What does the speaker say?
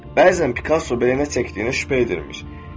Bəzən Pikasso belə nə çəkdiyinə şübhə edirmiş.